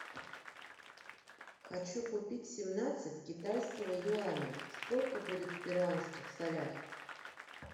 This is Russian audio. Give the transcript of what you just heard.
хочу купить семнадцать китайского юаня сколько будет в перуанских солях